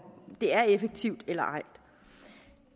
det er effektivt eller ej